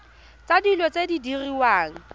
tsa dilo tse di diriwang